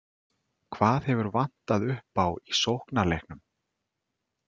Hvað hefur vantað upp á í sóknarleiknum?